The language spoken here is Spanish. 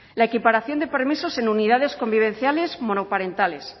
la equiparación de permisos en unidades convivenciales monoparentales